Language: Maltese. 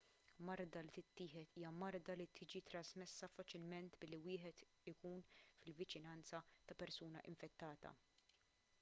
marda li tittieħed hija marda li tiġi trasmessa faċilment billi wieħed ikun fil-viċinanza ta' persuna infettata